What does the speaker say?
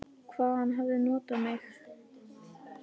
Og hvað hann hafði notað mig.